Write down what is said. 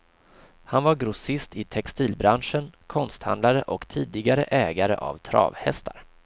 Han var grossist i textilbranschen, konsthandlare och tidigare ägare av travhästar.